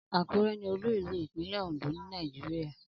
Akure ni olú ìlú ipinle Ondo ni Nàìjíríà.